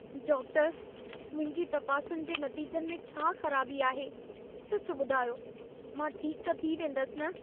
Doctor, मुंहिंजी तपासुनि जे नतीजनि में छा ख़राबी आहे? सचु ॿुधायो, मां ठीक त थी वेंदसि न?